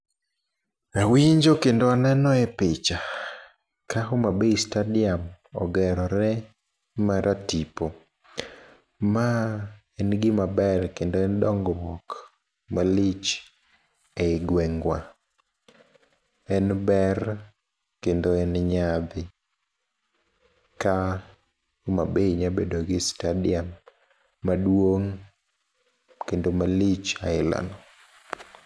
Awinjo kendo aneno e picha ka Homabay stadiam ogerore maratipo. Ma en gima ber kendo en dongruok malich ei gweng wa. En ber kendo en nyadhi ka Homa Bay nya bedo gi stadiam maduong' kendo malich aila no.